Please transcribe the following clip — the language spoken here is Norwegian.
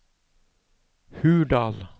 Hurdal